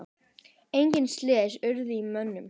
Engin slys urðu á mönnum.